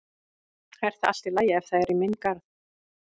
Er það allt í lagi ef það er í minn garð?